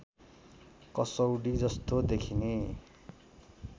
कसौडी जस्तो देखिने